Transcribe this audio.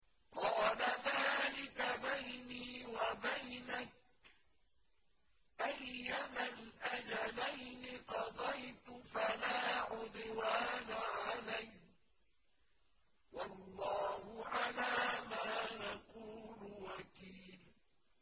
قَالَ ذَٰلِكَ بَيْنِي وَبَيْنَكَ ۖ أَيَّمَا الْأَجَلَيْنِ قَضَيْتُ فَلَا عُدْوَانَ عَلَيَّ ۖ وَاللَّهُ عَلَىٰ مَا نَقُولُ وَكِيلٌ